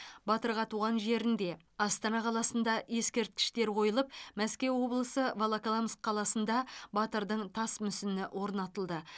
батырға туған жерінде астана қаласында ескерткіштер қойылып мәскеу облысы волоколамск қаласында батырдың тас мүсіні орнатылды